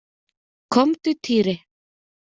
Komdu Týri!